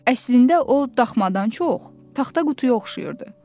Əslində o, daxmadan çox, taxta qutuya oxşayırdı.